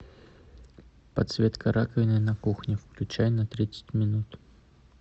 подсветка раковины на кухне включай на тридцать минут